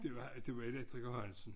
Det var det var elektriker Hansen